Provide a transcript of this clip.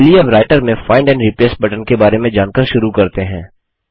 चलिए अब राइटर में फाइंड एंड रिप्लेस बटन के बारे में जानकर शुरू करते हैं